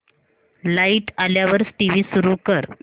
light आल्यावर TV सुरू कर